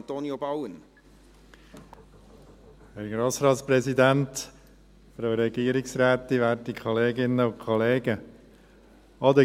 Auch den